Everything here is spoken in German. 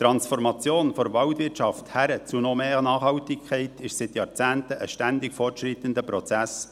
Die Transformation der Waldwirtschaft hin zu noch mehr Nachhaltigkeit ist seit Jahrzehnten ein ständig fortschreitender Prozess.